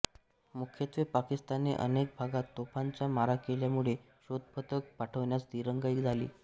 मुख्यत्वे पाकिस्तानने अनेक भागात तोफांचा मारा केल्यामुळे शोधपथक पाठवण्यास दिरंगाई झाली